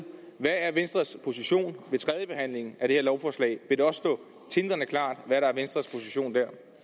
hvad er venstres position ved tredjebehandlingen af det her lovforslag vil dér stå tindrende klart hvad der er venstres position